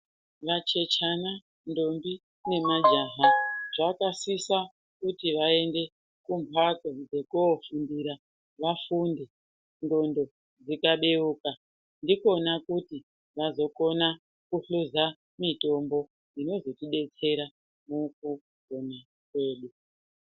Vachechana, ndombi nemajaha zvakasisa kuti vaende kumhatso dzekuofundira vafunde nxondo dzikabeuka ndikona kuto vakona kuhluza mitombo dzinozotidetsera mukupona kwedu.